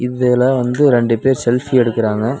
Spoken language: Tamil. இதுல வந்து ரெண்டு பேர் செல்ஃபி எடுக்குறாங்க.